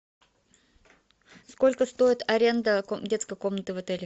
сколько стоит аренда детской комнаты в отеле